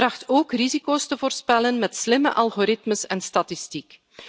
Het tracht ook risico's te voorspellen met slimme algoritmes en statistiek.